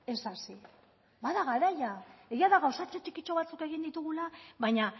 ez hasi bada garaia egia da gauza txikitxo batzuk egin ditugula baina